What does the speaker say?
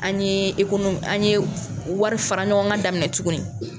An ɲe an ɲe warifara ɲɔgɔnkan daminɛ tuguni.